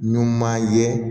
Numan ye